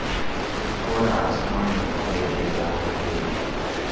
ऊपर आसमान दिखाई दे रहा है।